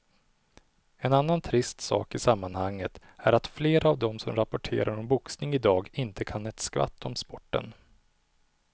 En annan trist sak i sammanhanget är att flera av de som rapporterar om boxning i dag inte kan ett skvatt om sporten.